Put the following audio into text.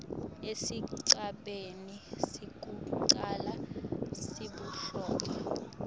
esigabeni sekucala sebuhlobo